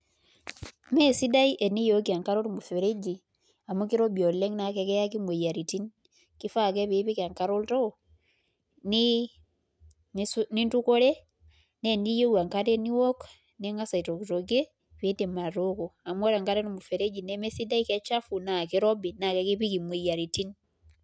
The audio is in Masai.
Meesidai teniyooki enkare ormuseregi amu kirobi oleng' naa kakiyaki imoyiaritin, kifaa ake pee ipik enkare oltoo nintukore naa teniyieu enkare niook ning'as aitokitokie piidim atooko amu ore enkare olmusereji nemesidai kechafu naa kirobi naa kakipik imoyiaritin.